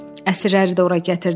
Əsirləri də ora gətirdilər.